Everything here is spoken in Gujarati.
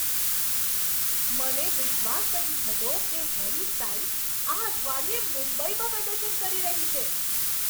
મને વિશ્વાસ નથી થતો કે હેરી સ્ટાઈલ્સ આ અઠવાડિયે મુંબઈમાં પ્રદર્શન કરી રહી છે.